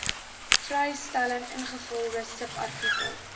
vrystelling ingevolge subartikel